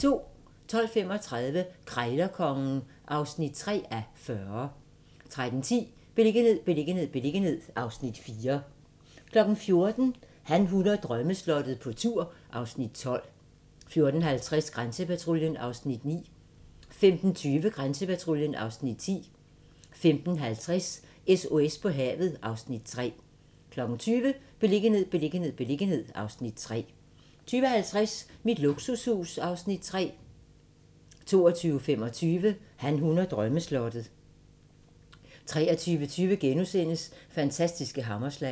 12:35: Krejlerkongen (3:40) 13:10: Beliggenhed, beliggenhed, beliggenhed (Afs. 4) 14:00: Han, hun og drømmeslottet - på tur (Afs. 12) 14:50: Grænsepatruljen (Afs. 9) 15:20: Grænsepatruljen (Afs. 10) 15:50: SOS på havet (Afs. 3) 20:00: Beliggenhed, beliggenhed, beliggenhed (Afs. 3) 20:50: Mit luksushus (Afs. 3) 22:25: Han, hun og drømmeslottet 23:20: Fantastiske hammerslag *